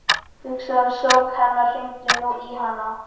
Hugsaðu um sorg hennar, hringdu nú í hana.